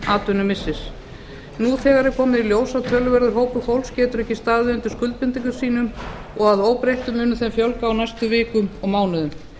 atvinnumissi nú þegar er komið í ljós að töluverður hópur fólks getur ekki staðið undir skuldbindingum sínum og að óbreyttu mun þeim fjölga á næstu vikum og mánuðum